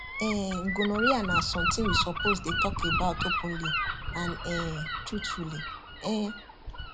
um gonorrhea na something we suppose dey talk about openly and um truthfully um